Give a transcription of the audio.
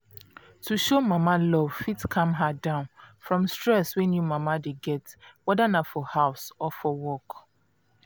to show mama love fit calm her down from stress wey new mama dey getwhether na for house or for work.